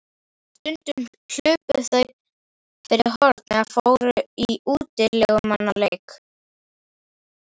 Stundum hlupu þau fyrir horn eða fóru í útilegumannaleik.